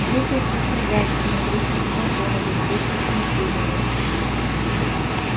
выпил со стругацкими выпил с платоновым выпил с есениным